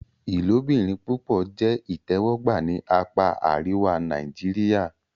Ilobirin-pupọ jẹ itẹwọgba ni apa ariwa Nàìjíríà.